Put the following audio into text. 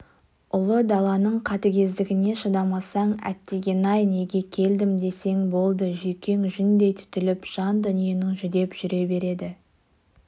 ұлы даланың қатыгездігіне шыдамасаң әттеген-ай неге келдім десең болды жүйкең жүндей түтіліп жан дүниең жүдеп жүре береді